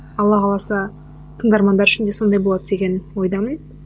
алла қаласа тыңдармандар үшін де сондай болады деген ойдамын